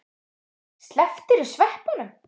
Slepptirðu sveppunum?